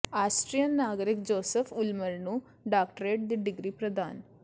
Austrian ਨਾਗਰਿਕ Joseph Ulmer ਨੂੰ doctorate ਦੀ ਡਿਗਰੀ ਪ੍ਰਦਾਨ